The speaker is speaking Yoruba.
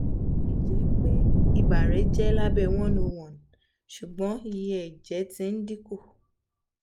botilẹjẹpe iba rẹ jẹ labẹ one hundred and one ṣugbọn iye ẹjẹ ti n dinku